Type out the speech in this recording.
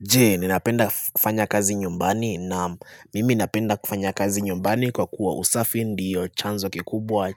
Je, ninapenda kufanya kazi nyumbani? Naam, mimi napenda kufanya kazi nyumbani kwa kuwa usafi ndiyo chanzo kikubwa